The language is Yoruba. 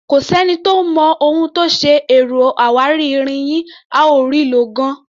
Kò sẹ́ni tó mọ ohun tó ṣe ẹ̀rọ awáirin yín, a ò rí i lò gan-an.